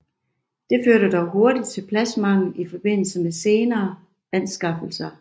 Det førte dog hurtigt til pladsmangel i forbindelse med senere anskaffelser